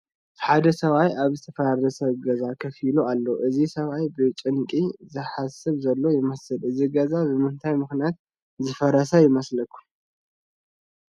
ሓደ ሰብኣይ ኣብ ዝፈራረሰ ገዛ ከፍ ኢሉ ኣሎ፡፡ እዚ ሰብኣይ ብጭንቂ ዝሓስብ ዘሎ ይመስል፡፡ እዚ ገዛ ብምንታይ ምኽንያት ዝፈረሰ ይመለኩም?